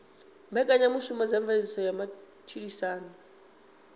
mbekanyamushumo dza mveledziso ya matshilisano